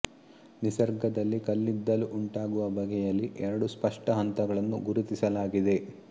ನಿಸರ್ಗದಲ್ಲಿ ಕಲ್ಲಿದ್ದಲು ಉಂಟಾಗುವ ಬಗೆಯಲ್ಲಿ ಎರಡು ಸ್ಪಷ್ಟ ಹಂತಗಳನ್ನು ಗುರುತಿಸಲಾಗಿದೆ